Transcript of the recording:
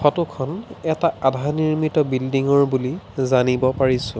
Photo খন এটা আধা নিৰ্মিত বিল্ডিঙ ৰ বুলি জানিব পাৰিছোঁ।